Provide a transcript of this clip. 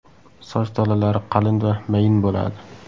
Soch tolalari qalin va mayin bo‘ladi.